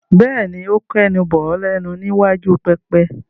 Bẹ́ẹ̀ni, ó kẹnu bọ̀ ọ́ lẹ́nu ní iwájú pẹpẹ.